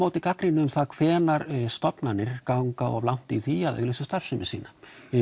gagnrýni um það hvenær stofnanir ganga of langt í því að auglýsa starfsemi sína